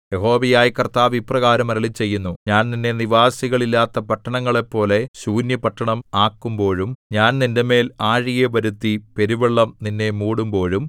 യഹോവയായ കർത്താവ് ഇപ്രകാരം അരുളിച്ചെയ്യുന്നു ഞാൻ നിന്നെ നിവാസികൾ ഇല്ലാത്ത പട്ടണങ്ങളെപ്പോലെ ശൂന്യപട്ടണം ആക്കുമ്പോഴും ഞാൻ നിന്റെമേൽ ആഴിയെ വരുത്തി പെരുവെള്ളം നിന്നെ മൂടുമ്പോഴും